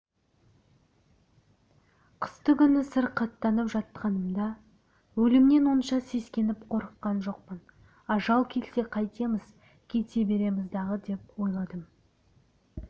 қыстыгүні сырқаттанып жатқанымда өлімнен онша сескеніп қорыққан жоқпын ажал келсе қайтеміз кете береміз-дағы деп ойладым